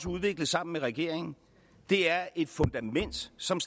udviklet sammen med regeringen er et fundament som